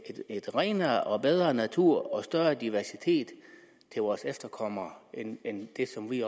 en renere og bedre natur og større diversitet til vores efterkommere end det som vi